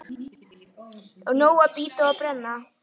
Nóg að bíta og brenna.